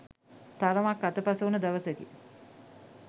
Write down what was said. තරමක් අතපසුවන දවසකි.